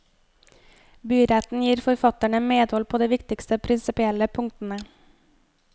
Byretten gir forfatterne medhold på de viktigste prinsipielle punktene.